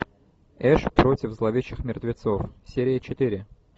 эш против зловещих мертвецов серия четыре